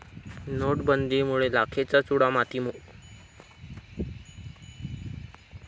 नोटबंदीमुळे लाखेचा चुडा मातीमोल